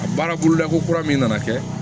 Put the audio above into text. A baara bolola ko kura min nana kɛ